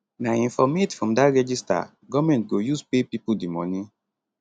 na informate from dat register goment go use pay pipo di money